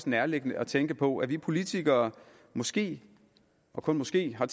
nærliggende at tænke på at vi politikere måske og kun måske har